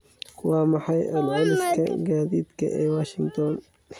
Waa maxay celceliska gaadiidka ee washington?